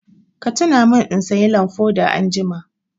Ka tuna min in sayi lamfoda anjima!